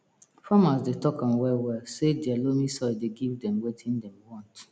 farmers dey talk am well well say dia loamy soil dey give dem watin dem want